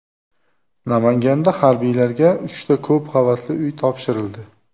Namanganda harbiylarga uchta ko‘p qavatli uy topshirildi .